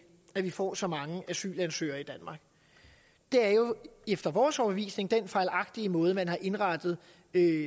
at vi får så mange asylansøgere i danmark det er jo efter vores overbevisning den fejlagtige måde man har indrettet